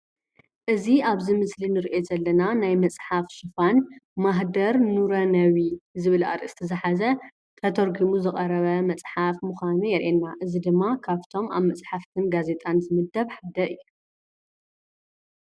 እዚ ኣብዚ ምስሊ እንሪኦ ዘለና ናይ መፅሓፍ ሽፋን "ማህደር ኑረነቢ" ዝብል ኣርእስቲ ዝሓዘ ተተርጊሙ ዝቐረበ መፅሓፍ ምዃኑ የሪአና፡፡ እዚ ድማ ካፍቶም ኣብ መፅሓፍትን ጋዜጣን ዝምደብ ሓደ እዩ፡፡